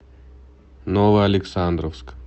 новоалександровск